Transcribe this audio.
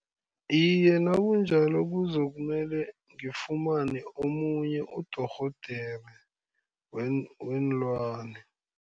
Iye, nakunjalo kuzokumele ngifumane omunye udorhodere weenlwana.